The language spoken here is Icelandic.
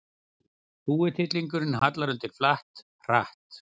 Þúfutittlingurinn hallar undir flatt, hratt.